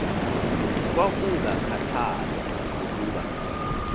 kwakunga khathalwa nokuba